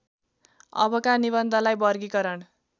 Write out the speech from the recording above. अबका निबन्धलाई वर्गीकरण